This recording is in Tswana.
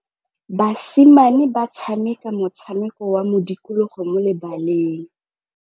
Basimane ba tshameka motshameko wa modikologô mo lebaleng.